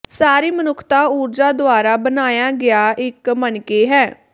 ਸਾਰੀ ਮਨੁੱਖਤਾ ਊਰਜਾ ਦੁਆਰਾ ਬਣਾਇਆ ਗਿਆ ਇੱਕ ਮਣਕੇ ਹੈ